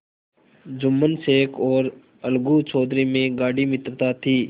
जुम्मन शेख और अलगू चौधरी में गाढ़ी मित्रता थी